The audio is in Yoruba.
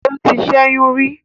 O tì ṣẹyun rí